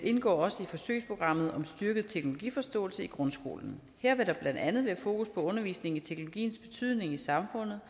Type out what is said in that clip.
indgår også i forsøgsprogrammet om styrket teknologiforståelse i grundskolen her vil der blandt andet være fokus på undervisning i teknologiens betydning i samfundet